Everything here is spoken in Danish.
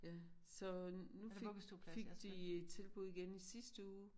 Ja så nu fik fik de tilbud igen sidste uge